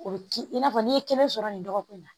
O bi i n'a fɔ n'i ye kɛnɛ sɔrɔ nin dɔgɔkun na